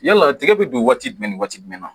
Yala tigɛ bɛ don waati jumɛn ni waati jumɛn na